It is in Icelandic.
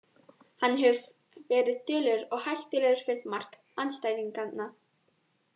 Hann hefur verið duglegur og hættulegur við mark andstæðinganna.